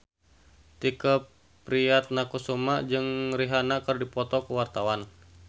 Tike Priatnakusuma jeung Rihanna keur dipoto ku wartawan